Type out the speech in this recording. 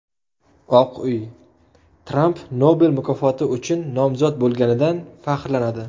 Oq uy: Tramp Nobel mukofoti uchun nomzod bo‘lganidan faxrlanadi.